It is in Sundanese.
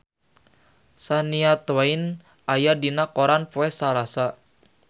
Shania Twain aya dina koran poe Salasa